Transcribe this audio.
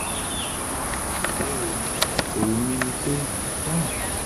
ní ìbámu pẹ̀lú ìbéèrè yín èrò mi ni pé: 1